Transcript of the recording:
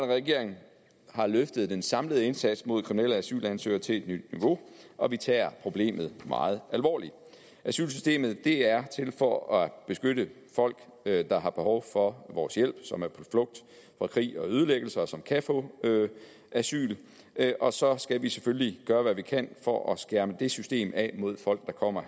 regering har løftet den samlede indsats mod kriminelle asylansøgere til et nyt niveau og vi tager problemet meget alvorligt asylsystemet er til for at beskytte folk der der har behov for vores hjælp som er på flugt fra krig og ødelæggelse og som kan få asyl og så skal vi selvfølgelig gøre hvad vi kan for at skærme det system af mod folk der kommer